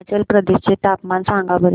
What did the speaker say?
हिमाचल प्रदेश चे तापमान सांगा बरं